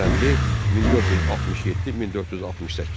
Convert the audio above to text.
Həsənli, 1467-1468.